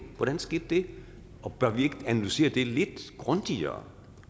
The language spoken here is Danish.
hvordan skete det bør vi ikke analysere det lidt grundigere